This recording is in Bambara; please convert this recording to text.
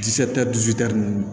ninnu